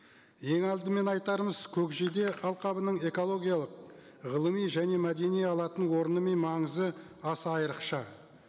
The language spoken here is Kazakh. ең алдымен айтарымыз көкжиде алқабының экологиялық ғылыми және мәдени алатын орны мен маңызы аса айрықша